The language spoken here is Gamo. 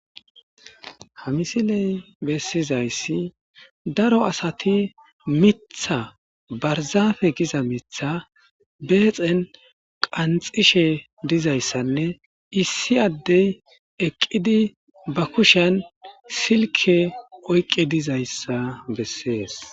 ha misiley bessizayssi daro asati mitha barzaafe giza mitha beexen qanxishe dizayssanne issi addey eqqidi ba kushan silke oyqqe dizayssa bessees